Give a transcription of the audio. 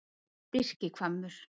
Birkihvammur